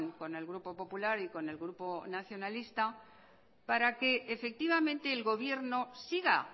con el grupo popular y con el grupo nacionalista para que efectivamente el gobierno siga